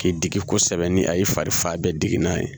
K'i digi kosɛbɛ ni a y'i fari fa bɛɛ digi n'a ye